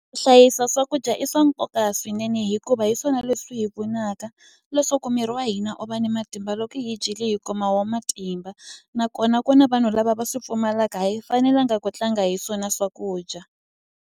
Hlayisa swakudya i swa nkoka swinene hikuva hi swona leswi hi pfunaka leswaku miri wa hina u va ni matimba loko hi dyile hi kuma wo matimba nakona ku na vanhu lava va swi pfumalaka hi fanelanga ku tlanga hi swona swakudya.